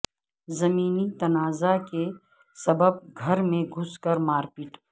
زمینی تنازعہ کے سبب گھر میں گھس کر مار پیٹ